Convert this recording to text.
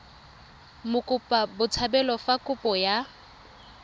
mokopa botshabelo fa kopo ya